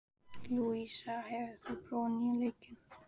Lúísa, hefur þú prófað nýja leikinn?